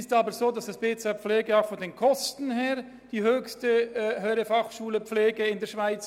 Dennoch ist das BZ Pflege auch bezüglich der Kosten die grösste HF Pflege in der Schweiz: